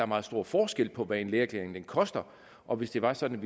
meget stor forskel på hvad en lægeerklæring koster og hvis det var sådan